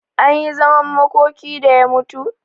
Anyi zaman makoki da ya mutu?